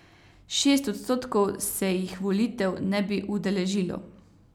Šest odstotkov se jih volitev ne bi udeležilo.